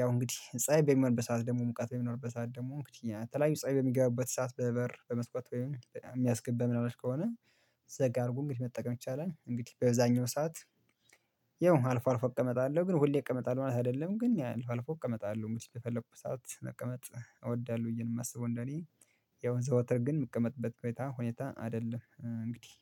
ያው እንግዲህ ፀሀይ በሚሆንበት ሰዓት ደግሞ ሙቀት በሚኖርበት ሰዓት ደግሞ የተላየዩ ፀሀይ በሚገባበት ሰዓት በበር በመስኮት ወይም የሚያስገባ ምን አላሽ ከሆነ። ዘጋ አርጎ እንግዲ መጠቀም ይቻላል እንግዲህ በዛኛው ሰዓት። ያው አልፎ አልፎ እቀመጣለሁ ግን ሁሌ እቀመጣለሁ ማለት አይደለም ግን አልፎ አልፎ እቀመጣለሁ። መቼ በፈልኩ ሰዓት መቀመጥ እወዳለሁ ብዬ ነው የማስበው እንደኔ። ያው ዘወትር ግን የምቀመጥበት ሁኔታ ሁኔታ አይደለም እንግዲህ።